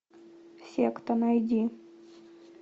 секта найди